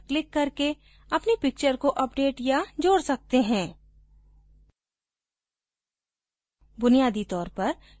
हम picture के नीचे browse button पर क्लिक करके अपनी picture को अपडेट या जोड़ कर सकते हैं